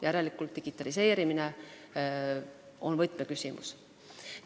Järelikult on digitaliseerimine võtmeküsimus.